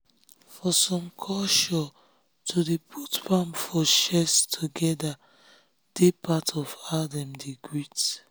for some cultureto dey put palm together for chest dey part of how dem dey greet.